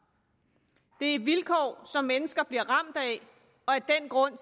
det er et vilkår som mennesker bliver ramt af og af den grund